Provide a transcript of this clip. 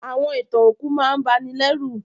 Àwọn ìtàn òkú máà n banilérù